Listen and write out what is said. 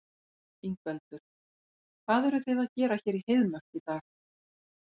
Ingveldur: Hvað eruð þið að gera hér í Heiðmörk í dag?